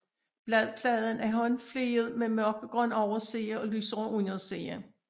Bladpladen er håndfliget med mørkegrøn overside og lysere underside